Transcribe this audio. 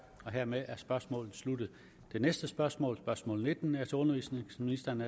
hermed er spørgsmålet sluttet det næste spørgsmål spørgsmål nitten er til undervisningsministeren